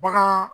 Bagan